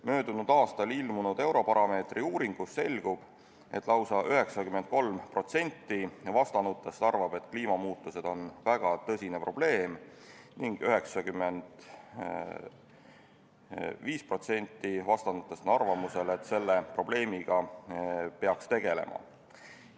Möödunud aastal ilmunud Eurobaromeetri uuringust selgub, et lausa 93% vastanutest arvab, et kliimamuutused on väga tõsine probleem, ning 95% vastanutest on arvamusel, et selle probleemiga peaks tegelema.